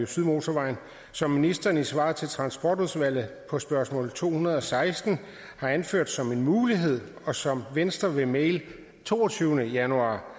sydmotorvejen som ministeren i svaret på transportudvalgets spørgsmål to hundrede og seksten har anført som en mulighed og som venstre ved mail af toogtyvende januar